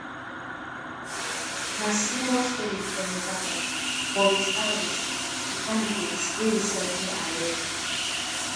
na similar story for nevada but wit harris di candidate wey dey slightly ahead